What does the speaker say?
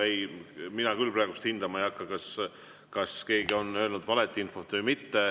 Ei, mina küll praegu hindama ei hakka, kas keegi on öelnud valet infot või mitte.